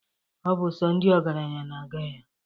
Ọ bụ sọ ndị ọgaranya na-aga ya.